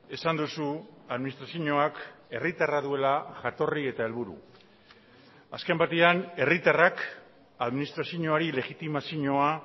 esan duzu administrazioak herritarra duela jatorri eta helburu azken batean herritarrak administrazioari legitimazioa